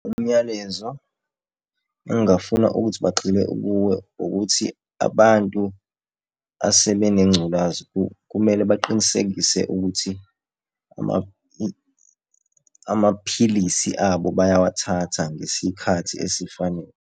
Umyalezo engingafuna ukuthi bagxile kuwo ukuthi abantu asebenengculazi kumele baqinisekise ukuthi amaphilisi abo bayawathatha ngesikhathi esifanele.